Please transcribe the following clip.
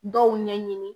Dɔw ɲɛɲini